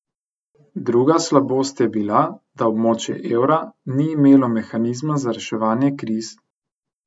Druga slabost je bila, da območje evra ni imelo mehanizma za reševanje kriz.